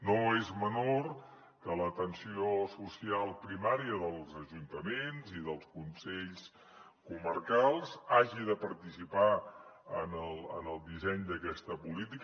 no és menor que l’atenció social primària dels ajuntaments i dels consells comarcals hagi de participar en el disseny d’aquesta política